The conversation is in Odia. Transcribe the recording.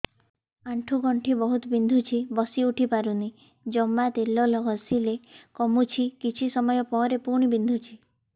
ଆଣ୍ଠୁଗଣ୍ଠି ବହୁତ ବିନ୍ଧୁଛି ବସିଉଠି ପାରୁନି ଜମା ତେଲ ଘଷିଲେ କମୁଛି କିଛି ସମୟ ପରେ ପୁଣି ବିନ୍ଧୁଛି